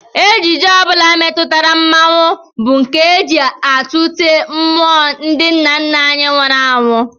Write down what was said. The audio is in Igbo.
Ejije ọ bụla metụtara mmọnwụ bụ nke e ji atụte mmụọ ndị nna nna anyị nwụrụ anwụ